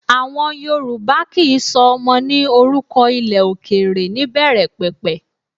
Àwọn Yorùbá kì í sọ ọmọ ní orúkọ ilẹ̀ òkèrè níbẹ̀rẹ̀pẹ̀pẹ̀